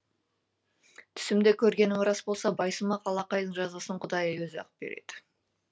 түсімде көргенім рас болса байсымақ алақайдың жазасын құдай өзі ақ береді